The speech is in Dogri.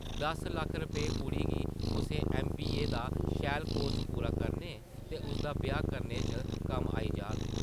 दस लक्ख रपेआ कुड़ी गी कुसै ऐम.बी.ए दा शैल कोर्स पूरा करने ते उसदा ब्याह् करने च कम्म आई जाह्ग ।